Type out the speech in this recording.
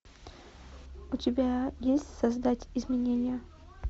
у тебя есть создать изменения